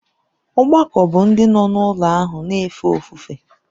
Ọgbakọ bụ ndị nọ n’ụlọ ahụ na-efe ofufe.